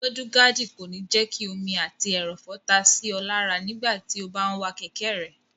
Múdúgáàdì kò ní jẹ́ kí omi àti ẹrọ̀fọ̀ ta sí ọ lára nígbàtí o bá n wa kẹ̀kẹ́ rẹ